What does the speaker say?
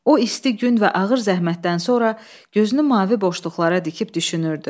O isti gün və ağır zəhmətdən sonra gözünü mavi boşluqlara dikib düşünürdü.